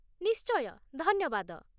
ନିଶ୍ଚୟ, ଧନ୍ୟବାଦ ।